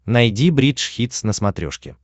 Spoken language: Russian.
найди бридж хитс на смотрешке